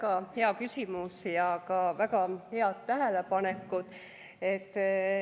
Väga hea küsimus ja ka väga head tähelepanekud.